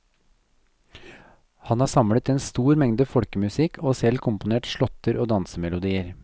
Han har samlet en stor mengde folkemusikk og selv komponert slåtter og dansemelodier.